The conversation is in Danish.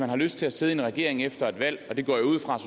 har lyst til at sidde i regering efter et valg og det går jeg ud fra